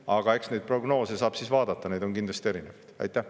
Aga eks neid prognoose saab siis vaadata, neid on kindlasti erinevaid.